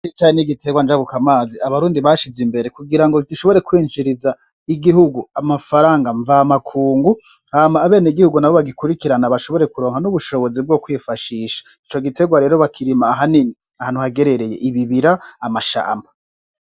Icayi n'igiterwa njabuka mazi Abarundi bashize imbere kugirango gishobore kwinjiriza igihugu amafaranga mvamakungubu hama abenegihugu bagikurikirana bashobore kuronka n'ubushobozi bwo kwifashisha ico giterwa rero bakirima ahanini ahantu hagerereye ibibira n'amashamba.